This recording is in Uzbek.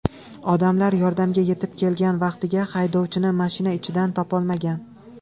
Odamlar yordamga yetib kelgan vaqtida haydovchini mashina ichidan topolmagan.